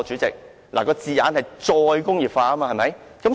有關字眼是"再工業化"，對不對？